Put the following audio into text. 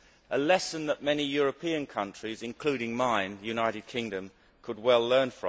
This is a lesson that many European countries including mine, the United Kingdom could well learn.